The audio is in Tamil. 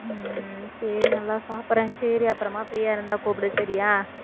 உம் சரி நல்லா சாப்பிடறேன் சரி அப்புறமா free யா இருந்தா கூப்பிடு சரியா